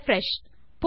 refresh